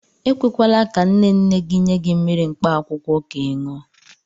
E kwekwala ka nne nne gị nye gị mmiri mkpaakwụkwọ ka ị ṅụọ.